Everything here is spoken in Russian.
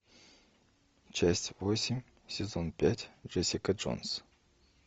часть восемь сезон пять джессика джонс